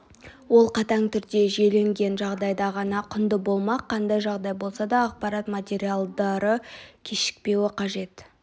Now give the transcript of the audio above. ол қатаң түрде жүйеленген жағдайда ғана құнды болмақ қандай жағдай болса да ақпарат материалдары кешікпеуі қажет